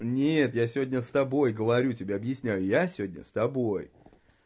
нет я сегодня с тобой говорю тебе объясняю я сегодня с тобой